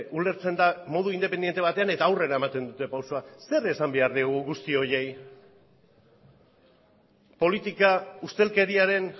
ulertzen da modu independente batean eta aurrera ematen duten pausua zer esan behar diegu guzti horiei politika ustelkeriaren